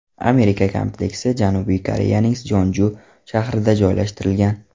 Amerika kompleksi Janubiy Koreyaning Sonchju shahrida joylashtirilgan.